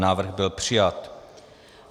Návrh byl přijat.